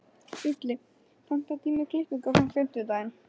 Júlli, pantaðu tíma í klippingu á fimmtudaginn.